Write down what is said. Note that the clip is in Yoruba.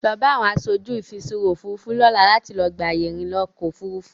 Lọ bá àwọn aṣojú ìfiṣúra Òfurufú lọ́la láti lọ gba àyè ìrìnà ọkọ Òfurufú.